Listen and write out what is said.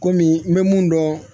Kɔmi n bɛ mun dɔn